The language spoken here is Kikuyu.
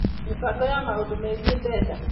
Mĩbango ya maũndu megiĩ mbeca.